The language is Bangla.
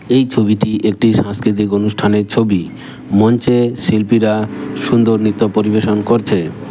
এই ছবিটি একটি সাংস্কৃতিক অনুষ্ঠানের ছবি মঞ্চে শিল্পীরা সুন্দর নৃত্য পরিবেশন করছে।